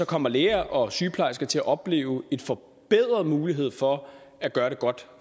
kommer læger og sygeplejersker til at opleve en forbedret mulighed for at gøre det godt